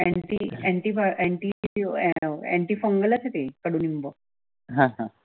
हां हां